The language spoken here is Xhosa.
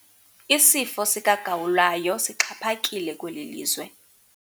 Isifo sikagawulayo sixhaphakile kweli lizwe.